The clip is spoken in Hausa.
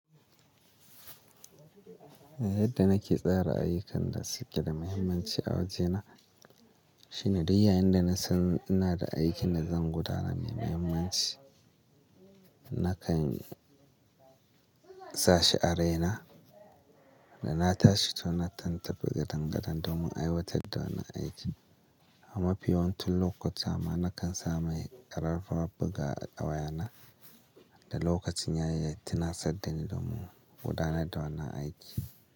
Yadda nake tsara ayyukan da suke da muhimmanci a wajena shine duk yayin da nasan ina da aikin da zan gudanar mai muhimmanci, nakan sa shi a raina da na tashi tun na tabbatar gadan-gadan domin aiwatar da wannan aiki. A mafi yawancin lokuta ma nakan sa mai kararrawar buga a wayana da lokacin yayyaittina saddani domin gudanar da wannan aiki.